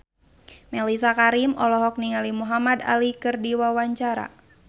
Mellisa Karim olohok ningali Muhamad Ali keur diwawancara